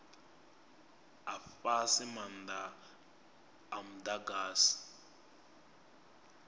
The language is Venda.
a fhasi maanda a mudagasi